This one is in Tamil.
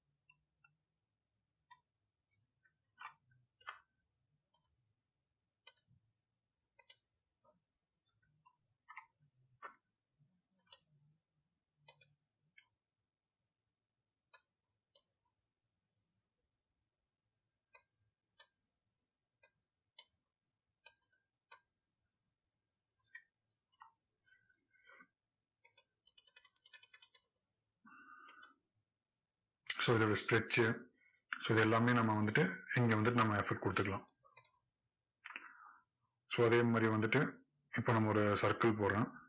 so இதோட stretch ச்சு so இது எல்லாமே நம்ம வந்துட்டு இங்க வந்துட்டு நம்ம கொடுத்துக்கலாம் so அதே மாதிரியே வந்துட்டு இப்போ நம்ம ஒரு circle போடுறோம்